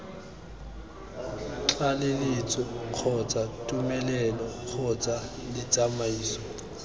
tlaleletso kgotsa tumelelo kgotsa ditsamaiso